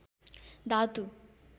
धातु